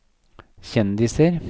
kjendiser